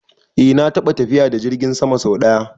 Eh na taɓa tafiya da jirgin sama sau ɗaya